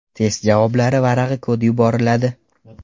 Test javoblar varag‘i kodi yuboriladi.